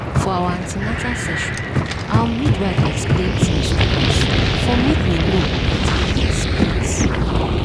for our an ten atal session our midwife explain tins to us for make we know wetin to expect